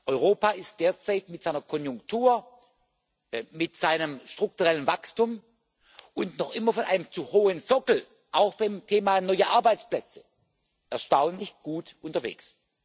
Europa ist derzeit mit seiner Konjunktur, mit seinem strukturellen Wachstum und noch immer von einem zu hohen Sockel auch beim Thema neue Arbeitsplätze erstaunlich gut unterwegs.